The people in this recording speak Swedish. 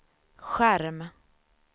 skärm